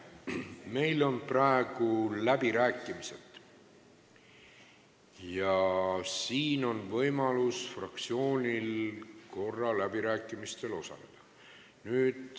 Meil on praegu läbirääkimised ja fraktsioonil on võimalus ühe korra läbirääkimistel osaleda.